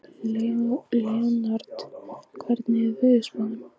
Leonhard, hvernig er veðurspáin?